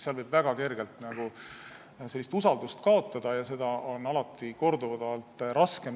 Seal võib väga kergelt usaldust kaotada ja seda tagasi võita on alati raskem.